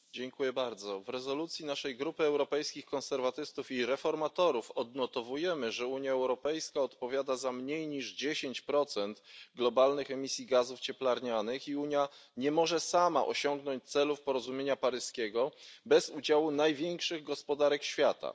Panie Przewodniczący! W rezolucji naszej grupy Europejskich Konserwatystów i Reformatorów odnotowujemy, że Unia Europejska odpowiada za mniej niż 10 globalnych emisji gazów cieplarnianych i że Unia nie może sama osiągnąć celów porozumienia paryskiego bez udziału największych gospodarek świata.